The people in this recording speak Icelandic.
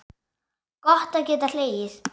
Gott að geta hlegið.